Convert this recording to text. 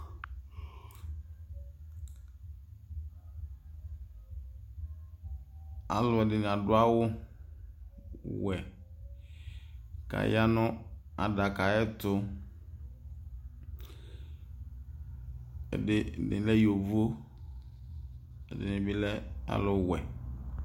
Alɔdini adu awu wʊɛ kaya nu adaka ɛtu Ɛdini lɛ yoʋo ɛdini bi lɛ alu wuɛ